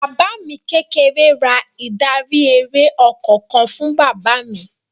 Bàbá mi kékeré ra ìdarí-eré ọkọ̀ kan fún bàbá mi.